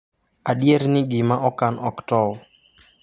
Adier ni gima okan ok tow !